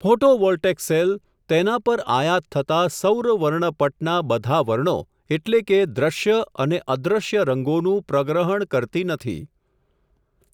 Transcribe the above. Photovoltaic cell, તેના પર આયાત થતા, સૌરવર્ણપટના બધા વર્ણો, એટલે કે દ્રશ્ય અને અદ્રશ્ય રંગો નું પ્રગ્રહણ કરતી નથી.